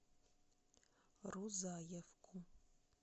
рузаевку